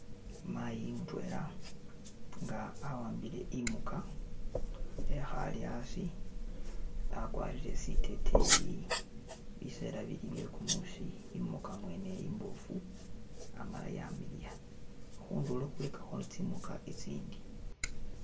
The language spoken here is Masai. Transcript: Mayi mutwela nga awambile imuka ehale asi, akwalire siteteyi, bisela bili byekumusi, imuka mwene imbofu amala yamiliya, hundulo hulikaho tsimuka tsitsindi